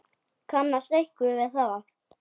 Kannast einhver við það?